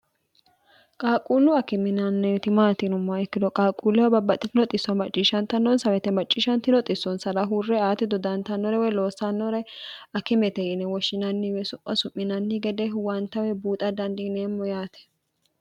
qaalquullu akiminanni itimaatinum ma ikkino qaaquullewo babbaxxitinoxisso macciishshantannonsawete macciishshan tinoxissonsara huurre aati dodantannore weye loossannore akimete yine woshshinanniwe so'osu'minnni gede huwantawe buuxa dandiiniemmo yaate